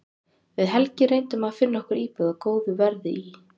Við Helgi reyndum að finna okkur íbúð á góðu verði í